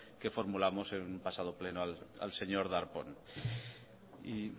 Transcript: que formulamos en el pasado pleno al señor darpón